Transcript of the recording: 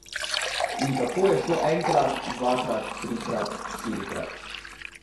In tako je šlo enkrat, dvakrat, trikrat, štirikrat ...